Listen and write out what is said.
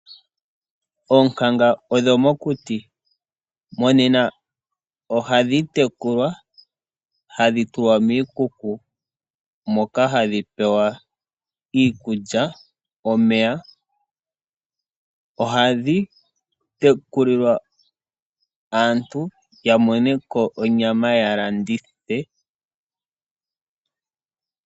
Oonkanga odho mokuti. Monena ohadhi tekulwa hadhi tulwa miikuku moka hadhi pewa iikulya nomeya. Ohadhi tekulilwa aantu, opo ya mone ko onyama ya ka landithe.